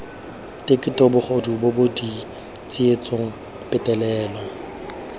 keteko bogodu bobod tsietso petelelo